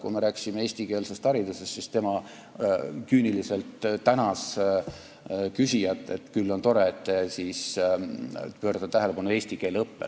Kui me rääkisime eestikeelsest haridusest, siis tema küüniliselt tänas küsijat, et küll on tore, et see juhib tähelepanu eesti keele õppele.